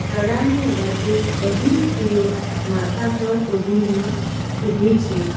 તળાવની આ બાજુ બધી સ્ત્રીઓ માથા પર ઓઢીને ઉભી છે.